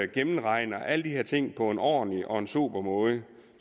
gennemregner alle de her ting på en ordentlig og en sober måde